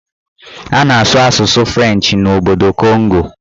A na-asụ asụsụ Frenchị n'obodo Kongo